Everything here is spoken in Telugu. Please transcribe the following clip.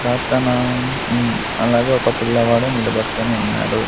ప్రార్థన ఉమ్మ్ అలాగే ఒక పిల్లవాడు నిలబడుకొని ఉన్నాడు.